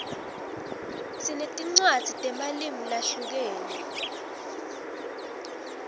sinetinwadzi temalimu lahlukene